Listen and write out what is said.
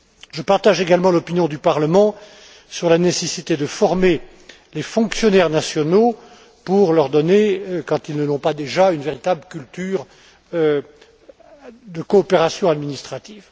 Je partage également l'opinion du Parlement sur la nécessité de former les fonctionnaires nationaux pour leur donner, quand ils ne l'ont pas déjà, une véritable culture de coopération administrative.